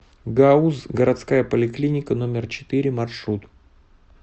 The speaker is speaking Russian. гауз городская поликлиника номер четыре маршрут